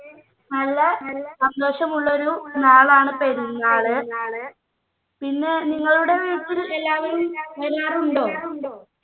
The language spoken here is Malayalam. നല്ല സന്തോഷം ഉള്ളൊരു നാളാണ് പെരുന്നാൾ പിന്നെ നിങ്ങളുടെ വീട്ടിൽ എല്ലാവരും എല്ലാരും ഉണ്ടോ